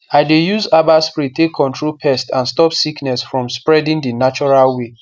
i dey use herbal spray take control pests and stop sickness from spreading the natural way